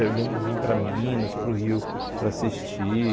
Eu lembro de vir para Minas, para o Rio, para assistir...